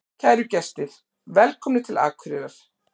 Kæru gestir! Velkomnir til Akureyrar.